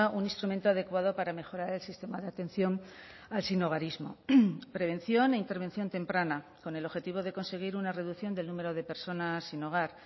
un instrumento adecuado para mejorar el sistema de atención al sinhogarismo prevención e intervención temprana con el objetivo de conseguir una reducción del número de personas sin hogar